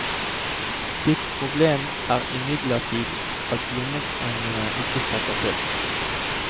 Ditt problem er imidlertid at lommepengene ikke strekker til.